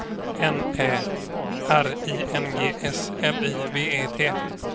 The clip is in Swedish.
N Ä R I N G S L I V E T